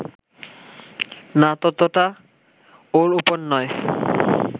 না ততটা ওর ওপর নয়